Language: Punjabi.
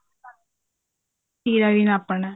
ਤੀਰਾ ਵੀ ਨਾਪਣਾ